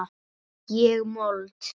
Ég mold.